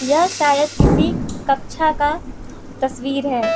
यह शायद किसी कक्षा का तस्वीर है।